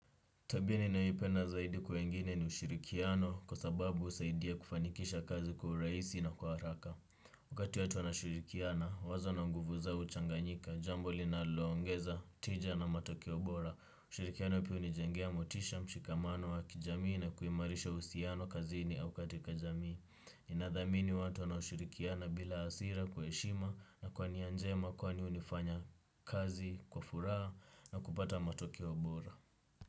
Tabia ninaipenda zaidi wengine ni ushirikiano kwa sababu husaidia kufanikisha kazi kwa urahisi na kwa haraka. Wakati watu wanashirikiana, wazo na nguvu zao huchanganyika, jambo linaloongeza, tija na matokeo bora. Ushirikiano pia hunijengea motisha, mshikamano wa kijamii na kuimarisha uhusiano kazini au katika jamii. Inadhamini watu wanaoshirikiana bila hasira kwa heshima na kwa nia njema kwani hunifanya kazi, kwa furaha na kupata matokeo bora.